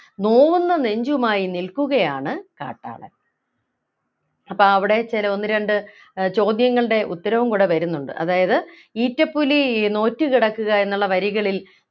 നോവുന്ന നെഞ്ചുമായി നിൽക്കുകയാണ് കാട്ടാളൻ അപ്പോ അവിടെ ചില ഒന്ന് രണ്ടു ഏർ ചോദ്യങ്ങളുടെ ഉത്തരവും കൂടെ വരുന്നുണ്ട് അതായത് ഈറ്റപ്പുലി നോറ്റു കിടക്കുക എന്നുള്ള വരികളിൽ